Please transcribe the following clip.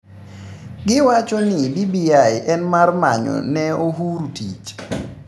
"Giwachoni BBI en mar manyone Uhuru tich"